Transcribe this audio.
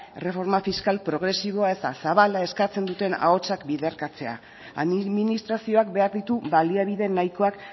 erreforma fiskal progresiboa eta zabala eskatzen duten ahotsak biderkatzea administrazioak behar ditu baliabide nahikoak